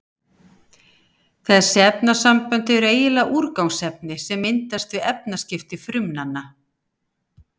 Þessi efnasambönd eru eiginlega úrgangsefni sem myndast við efnaskipti frumnanna.